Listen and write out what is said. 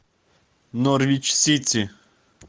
норвич сити